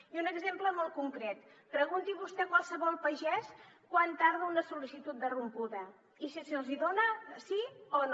i un exemple molt concret pregunti vostè a qualsevol pagès quant tarda una sol·licitud de rompuda i si se’ls hi dona sí o no